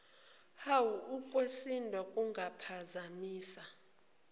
uwa ukwesindwa kungaphazamisa